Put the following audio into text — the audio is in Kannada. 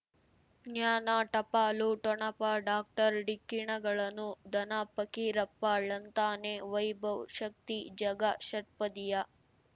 ಜ್ಞಾನ ಟಪಾಲು ಠೊಣಪ ಡಾಕ್ಟರ್ ಢಿಕ್ಕಿ ಣಗಳನು ಧನ ಫಕೀರಪ್ಪ ಳಂತಾನೆ ವೈಭವ್ ಶಕ್ತಿ ಝಗಾ ಷಟ್ಪದಿಯ